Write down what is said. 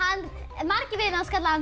margir vinir hans kalla hann